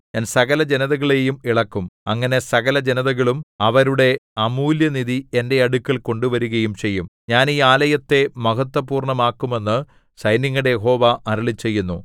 ഞാൻ സകലജനതകളെയും ഇളക്കും അങ്ങനെ സകലജനതകളും അവരുടെ അമൂല്യനിധി എന്റെ അടുക്കൽ കൊണ്ടുവരുകയും ചെയ്യും ഞാൻ ഈ ആലയത്തെ മഹത്ത്വപൂർണ്ണമാക്കും എന്ന് സൈന്യങ്ങളുടെ യഹോവ അരുളിച്ചെയ്യുന്നു